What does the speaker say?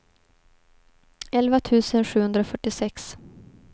elva tusen sjuhundrafyrtiosex